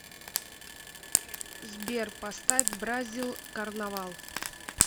сбер поставь бразил карнавал